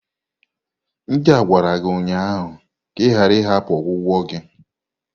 Ndị a gwara gi ụnyaahụ ka ị ghara ịhapụ ọgwụgwọ gị!